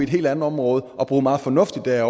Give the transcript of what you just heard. helt andet område og bruge meget fornuftigt der